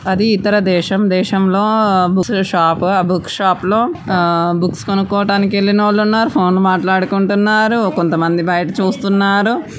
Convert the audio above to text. అది ఇతర దేశం దేశం లో బుక్ షాప్ బుక్ షాప్ లో బుక్స్ కొనుక్కోటానికి వేల్లినోళ్ళున్నారు ఫోన్ మాట్లాడుకుంటున్నారు కొంతమంది బయట చూస్తున్నారు.